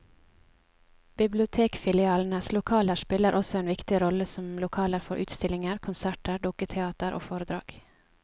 Bibliotekfilialenes lokaler spiller også en viktig rolle som lokaler for utstillinger, konserter, dukketeater og foredrag.